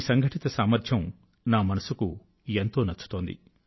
సంఘటిత సామర్థ్యాన్ని చూసి నా మనసు కు ఎంతో నచ్చుతోంది